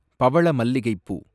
பவளமல்லிகைப்பூ